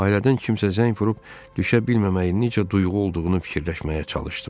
Ailədən kimsə zəng vurub düşə bilməməyin necə duyğu olduğunu fikirləşməyə çalışdım.